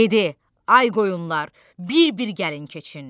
Dedi: Ay qoyunlar, bir-bir gəlin keçin!